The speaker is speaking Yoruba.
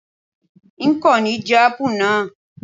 N kò ní jẹ́ Ápù náà.